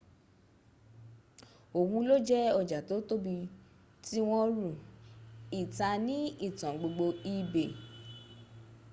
ohun lo je oja to tobi ti won ru=ita ni itan gbogbo ebay